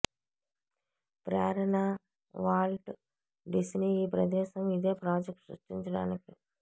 ప్రేరణ Walt Disney ఈ ప్రదేశం ఇదే ప్రాజెక్ట్ సృష్టించడానికి